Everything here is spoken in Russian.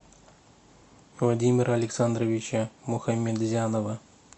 владимира александровича мухаметзянова